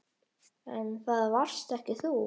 En það varst ekki þú.